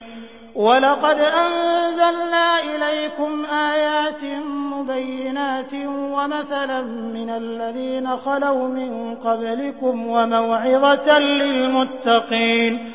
وَلَقَدْ أَنزَلْنَا إِلَيْكُمْ آيَاتٍ مُّبَيِّنَاتٍ وَمَثَلًا مِّنَ الَّذِينَ خَلَوْا مِن قَبْلِكُمْ وَمَوْعِظَةً لِّلْمُتَّقِينَ